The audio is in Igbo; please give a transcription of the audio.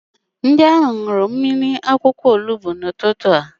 Ndị ahụ ṅụrụ mmiri akwụkwọ ilu n'ụtụtụ a.